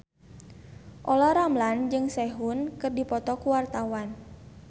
Olla Ramlan jeung Sehun keur dipoto ku wartawan